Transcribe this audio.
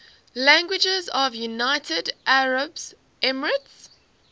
languages of the united arab emirates